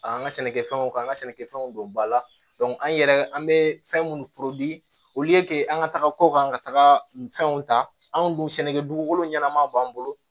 An ka sɛnɛkɛfɛnw ka an ka sɛnɛkɛfɛnw don ba la an yɛrɛ an bɛ fɛn minnu olu ye kete an ka taga ko kan ka taga fɛnw ta anw dun sɛnɛkɛ dugukolo ɲɛnama b'an bolo